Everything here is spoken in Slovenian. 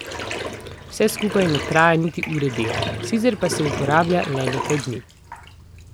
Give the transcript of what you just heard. Vse skupaj ne terja niti ure dela, sicer pa se uporablja le nekaj dni.